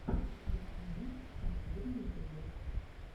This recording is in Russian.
ясмин последний эпизод